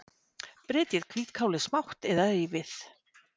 Brytjið hvítkálið smátt eða rífið.